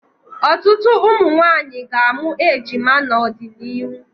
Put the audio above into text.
Ọtụtụ ụmụnwaanyị ga-amụ ejima n'ọdịnihu.